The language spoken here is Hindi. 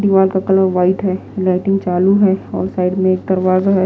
दिमाग का कलर वाइट है लाइटिंग चालू हैऔर साइड में एक दरवाजा है।